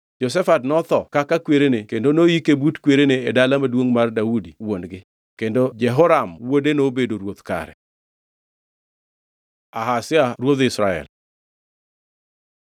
Jehoshafat notho kaka kwerene kendo noyike but kwerene e dala maduongʼ mar Daudi wuon-gi. Kendo Jehoram wuode nobedo ruoth kare. Ahazia ruodh Israel